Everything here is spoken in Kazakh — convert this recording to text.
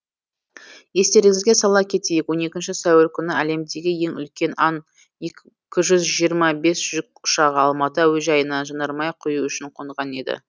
естеріңізге сала кетейік он екінші сәуір күні әлемдегі ең үлкен ан екі жүз жиырма бес жүк ұшағы алматы әуежайына жанармай құю үшін қонған еді